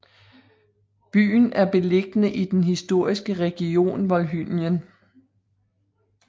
Byen er beliggende i den historiske region Volhynien